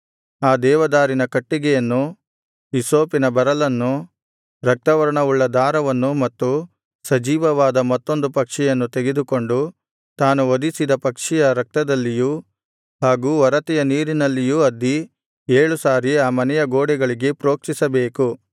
ಆ ದೇವದಾರಿನ ಕಟ್ಟಿಗೆಯನ್ನು ಹಿಸ್ಸೋಪಿನ ಬರಲನ್ನು ರಕ್ತವರ್ಣವುಳ್ಳ ದಾರವನ್ನು ಮತ್ತು ಸಜೀವವಾದ ಮತ್ತೊಂದು ಪಕ್ಷಿಯನ್ನು ತೆಗೆದುಕೊಂಡು ತಾನು ವಧಿಸಿದ ಪಕ್ಷಿಯ ರಕ್ತದಲ್ಲಿಯೂ ಹಾಗು ಒರತೆಯ ನೀರಿನಲ್ಲಿಯೂ ಅದ್ದಿ ಏಳು ಸಾರಿ ಆ ಮನೆಯ ಗೋಡೆಗಳಿಗೆ ಪ್ರೋಕ್ಷಿಸಬೇಕು